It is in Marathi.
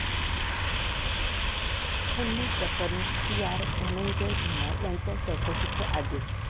खंडणी प्रकरणी पीआय धनंजय धुमाळ यांच्या चौकशीचे आदेश